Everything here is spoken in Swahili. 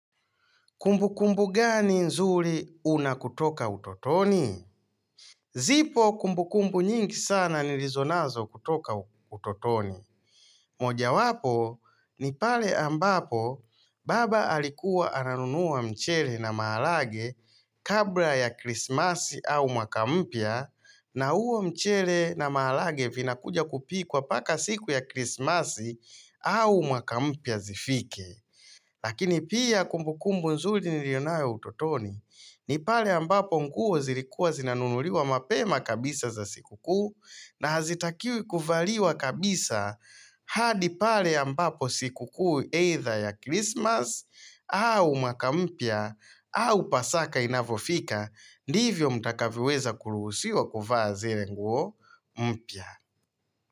Kumbu kumbu gani nzuri unako toka utotoni? Zipo kumbukumbu nyingi sana nilizo nazo kutoka utotoni. Moja wapo ni pale ambapo baba alikuwa ananunua mchele na maharage kabla ya krismasi au mwaka mpya na huo mchele na maharage vinakuja kupikwa paka siku ya krismasi au mwaka mpya zifike. Lakini pia kumbukumbu nzuri nilio nayo utotoni ni pale ambapo nguo zilikuwa zinanunuliwa mapema kabisa za siku kuu na hazitakiwi kuvaliwa kabisa hadi pale ambapo siku kuu either ya Christmas au mwaka mpya au pasaka inavofika ndivyo mtakavyoweza kuruhusiwa kuvaa zile nguo mpya.